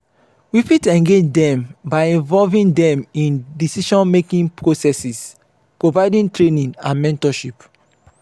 we fit engage dem by involving dem in decision-making processes provide training and mentorship.